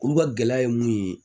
Olu ka gɛlɛya ye mun ye